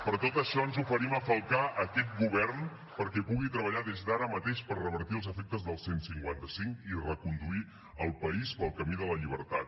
per tot això ens oferim a falcar aquest govern perquè pugui treballar des d’ara mateix per revertir els efectes del cent i cinquanta cinc i reconduir el país pel camí de la llibertat